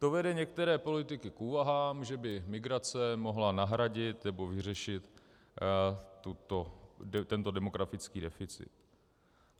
To vede některé politiky k úvahám, že by migrace mohla nahradit nebo vyřešit tento demografický deficit.